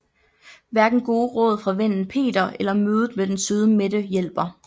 Hverken gode råd fra vennen Peter eller mødet med den søde Mette hjælper